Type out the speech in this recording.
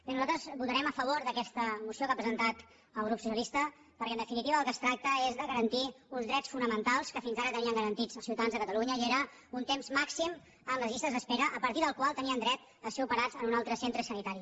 bé nosaltres votarem a favor d’aquesta moció que ha presentat el grup socialista perquè en definitiva del que es tracta és de garantir uns drets fo·namentals que fins ara tenien garantits els ciutadans de catalunya i era un temps màxim en les llistes d’espe·ra a partir del qual tenien dret a ser operats en un altre centre sanitari